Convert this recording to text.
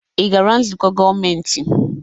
Ị gara nzukọ gọọmentị?